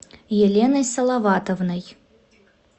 еленой салаватовной